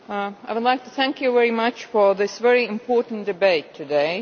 Mr President, I would like to thank you very much for this very important debate today.